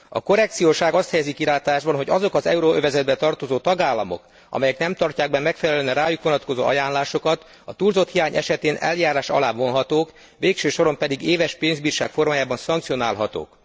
A korrekciós ág azt helyezi kilátásba, hogy azok az euróövezetbe tartozó tagállamok, amelyek nem tartják be megfelelően a rájuk vonatkozó ajánlásokat, túlzott hiány esetén eljárás alá vonhatók, végső soron pedig éves pénzbírság formájában szankcionálhatók.